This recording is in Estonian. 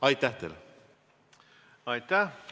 Aitäh!